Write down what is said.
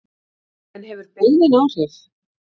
En hefur byggðin áhrif?